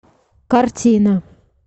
картина